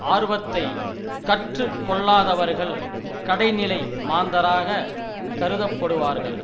ஆர்வத்தை கற்று கொள்ளாதவர்கள் கடைநிலை மாந்தராக கருதப்படுவார்கள்